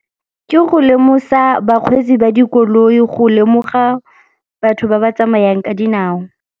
Ke go lemosa bakgweetsi ba dikoloi go lemoga batho ba ba tsamayang ka dinao.